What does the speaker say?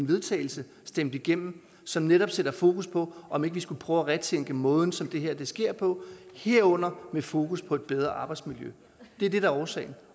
vedtagelse stemt igennem som netop sætter fokus på om ikke vi skulle prøve at retænke måden som det her sker på herunder med fokus på et bedre arbejdsmiljø det er det der er årsagen